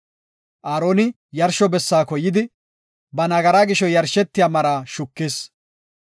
Aaroni yarsho bessaako yidi, ba nagaraa gisho yarshetiya maraa shukis.